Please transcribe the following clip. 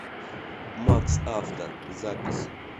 максавто запись